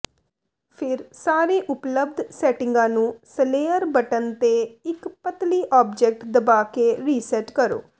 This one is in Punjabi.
ਫਿਰ ਸਾਰੇ ਉਪਲਬਧ ਸੈਟਿੰਗਾਂ ਨੂੰ ਸਲੇਅਰ ਬਟਨ ਤੇ ਇੱਕ ਪਤਲੀ ਆਬਜੈਕਟ ਦਬਾ ਕੇ ਰੀਸੈਟ ਕਰੋ